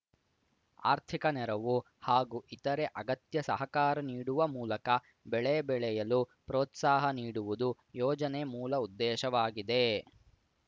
ಆರ್ಥಿಕ ನೆರವು ಹಾಗೂ ಇತರೆ ಅಗತ್ಯ ಸಹಕಾರ ನೀಡುವ ಮೂಲಕ ಬೆಳೆ ಬೆಳೆಯಲು ಪ್ರೋತ್ಸಾಹ ನೀಡುವುದು ಯೋಜನೆ ಮೂಲ ಉದ್ದೇಶವಾಗಿದೆ